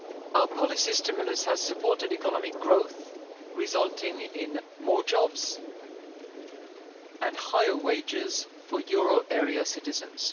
Our policy stimulus has supported economic growth, resulting in more jobs and higher wages for euro area citizens.